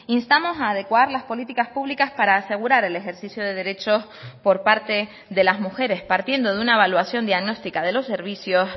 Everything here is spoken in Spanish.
instamos a adecuar las políticas públicas para asegurar el ejercicio de derechos por parte de las mujeres partiendo de una evaluación diagnóstica de los servicios